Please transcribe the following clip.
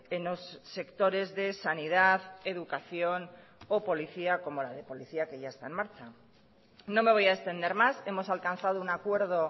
en los sectores de sanidad educación o policía como la de policía que ya está en marcha no me voy a extender más hemos alcanzado un acuerdo